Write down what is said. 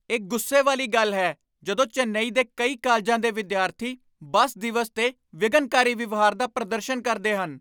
ਇਹ ਗੁੱਸੇ ਵਾਲੀ ਗੱਲ ਹੈ ਜਦੋਂ ਚੇਨਈ ਦੇ ਕਈ ਕਾਲਜਾਂ ਦੇ ਵਿਦਿਆਰਥੀ ਬੱਸ ਦਿਵਸ 'ਤੇ ਵਿਘਨਕਾਰੀ ਵਿਵਹਾਰ ਦਾ ਪ੍ਰਦਰਸ਼ਨ ਕਰਦੇ ਹਨ।